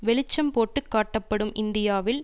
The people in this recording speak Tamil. வெளிச்சம் போட்டு காட்டப்படும் இந்தியாவில்